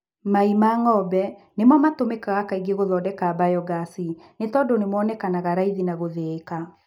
Mai ma ng'ombe nĩmo matũmĩkaga kaingĩ gũthondeka mbayogasi nĩtondũ nĩmonekanaga raithi na gũthĩĩka